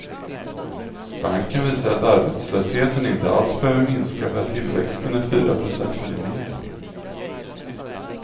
Banken visar att arbetslösheten inte alls behöver minska för att tillväxten är fyra procent eller mer.